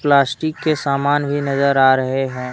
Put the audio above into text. Plastic के सामान भी नजर आ रहे हैं।